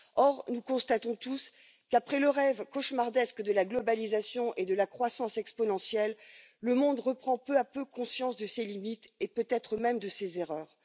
Or, nous constatons tous qu'après le rêve cauchemardesque de la globalisation et de la croissance exponentielle, le monde reprend peu à peu conscience de ses limites, et peut être même de ses erreurs.